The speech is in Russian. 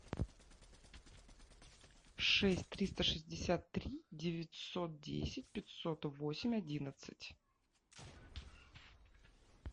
шесть триста шестьдесят три девятьсот десять пятьсот восемь одиннадцать